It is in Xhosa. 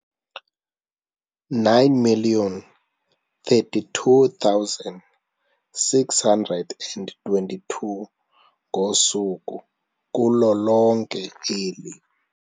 9 032 622 ngosuku kulo lonke eli.